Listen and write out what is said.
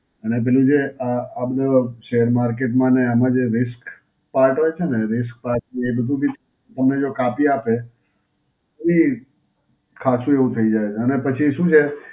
અને પેલું જે અ આ બધો શેર market માં અને આમાં જે risk part હોય છે, risk part મેં કીધું કે તમને જો કાપી આપે એ ખાસું એવું થઈ જાય છે અને પછી શું છે,